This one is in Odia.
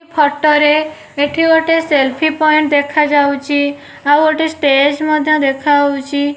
ଫୋଟୋ ରେ ଏଠି ଗୋଟେ ସେଲ୍ଫି ପଏଣ୍ଟ ଦେଖାଯାଉଚି ଆଉ ଗୋଟେ ଷ୍ଟେଜ ମଧ୍ୟ ଦେଖାଯାଉଚି।